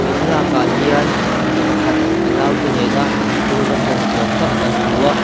thlalâkah hian mipa pakhat a naute nêna thil va tlawh ni âwm tak kan hmu a.